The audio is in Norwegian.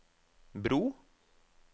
bro